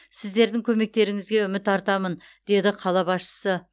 сіздердің көмектеріңізге үміт артамын деді қала басшысы